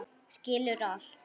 Skilur allt.